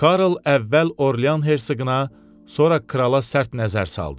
Karl əvvəl Orlean hersoquna, sonra krala sərt nəzər saldı.